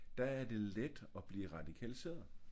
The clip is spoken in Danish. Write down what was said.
Der er det let at blive radikaliseret